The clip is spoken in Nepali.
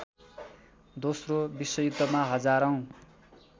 दोस्रो विश्वयुद्धमा हजारौँ